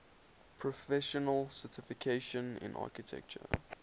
professional certification in architecture